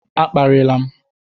A kparịla m!